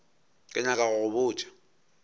ke nyaka go go botša